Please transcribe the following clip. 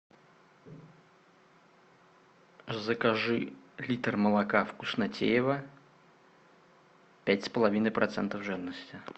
закажи литр молока вкуснотеево пять с половиной процентов жирности